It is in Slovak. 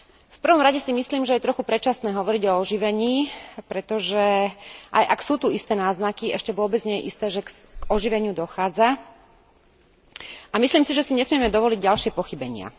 V prvom rade si myslím, že je trochu predčasné hovoriť o oživení, pretože, aj ak sú tu isté náznaky, ešte vôbec nie je isté, že k oživeniu dochádza, a myslím si, že si nesmieme dovoliť ďalšie pochybenia.